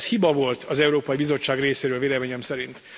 Ez hiba volt az Európai Bizottság részéről véleményem szerint.